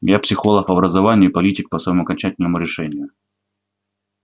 я психолог по образованию и политик по своему окончательному решению